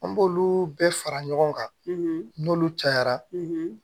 An b'olu bɛɛ fara ɲɔgɔn kan n'olu cayara